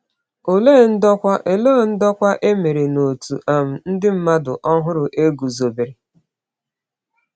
Olee ndokwa Olee ndokwa e mere n’òtù um ndị mmadụ ọhụrụ e guzobere?